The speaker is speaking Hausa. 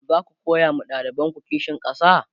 zaku koya ma ɗalibanku kishin ƙasa?